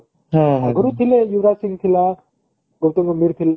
ଆଗରୁ ଥିଲେ ୟୁବରାଜ ସିଂହ ଥିଲା ଗୌତମ ଗମ୍ଭୀର ଥି